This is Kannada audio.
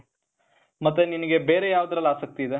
ಮತ್ತೆ ನಿನಿಗೆ ಬೇರೆ ಯಾವ್ದ್ರಲ್ಲಿ ಆಸಕ್ತಿ ಇದೆ?